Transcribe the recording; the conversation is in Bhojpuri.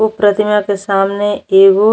उ प्रतिमा के सामने एगो --